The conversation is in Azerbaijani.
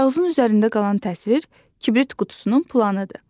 Kağızın üzərində qalan təsvir kibrit qutusunun planıdır.